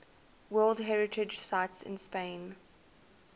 world heritage sites in spain